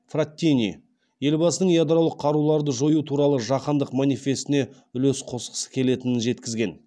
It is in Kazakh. фраттини елбасының ядролық қаруларды жою туралы жаһандық манифестіне үлес қосқысы келетінін жеткізген